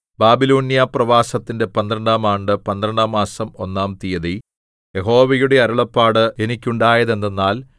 ബാബിലോന്യ പ്രവാസത്തിന്റെ പന്ത്രണ്ടാം ആണ്ട് പന്ത്രണ്ടാം മാസം ഒന്നാം തീയതി യഹോവയുടെ അരുളപ്പാട് എനിക്കുണ്ടായത് എന്തെന്നാൽ